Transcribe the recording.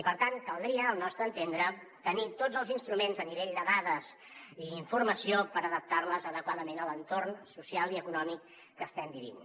i per tant caldria al nostre entendre tenir tots els instruments a nivell de dades i informació per adaptar les adequadament a l’entorn social i econòmic que estem vivint